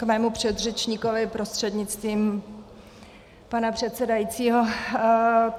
K mému předřečníkovi prostřednictvím pana předsedajícího.